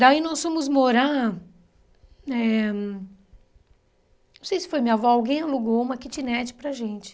Daí nós fomos morar eh... Não sei se foi minha avó, alguém alugou uma kitnet para gente.